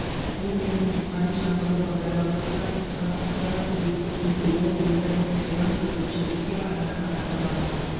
бұл менің рухани жаңғыру бағдарламасына қосқан аздаған үлесім дейді ол өмірінің жылын бүркітшілікке арнаған азамат